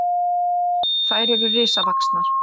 Þær eru risavaxnar!